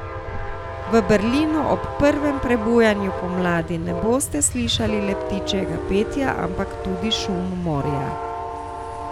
V Berlinu ob prvem prebujanju pomladi ne boste slišali le ptičjega petja, ampak tudi šum morja.